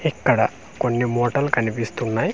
ఇక్కడ కొన్ని మూటల్ కన్పిస్తున్నాయి .